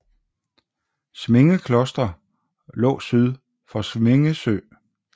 Sminge Kloster lå syd for Sminge Sø